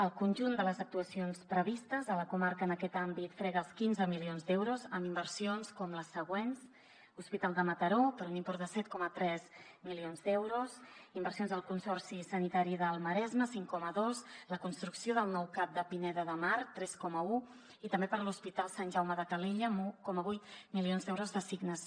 el conjunt de les actuacions previstes a la comarca en aquest àmbit frega els quinze milions d’euros amb inversions com les següents hospital de mataró per un import de set coma tres milions d’euros inversions al consorci sanitari del maresme cinc coma dos la construcció del nou cap de pineda de mar tres coma un i també per a l’hospital sant jaume de calella amb un coma vuit milions d’euros d’assignació